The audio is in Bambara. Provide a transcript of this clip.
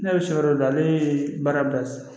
Ne bɛ so yɔrɔ dɔ ale ye baara bila sisan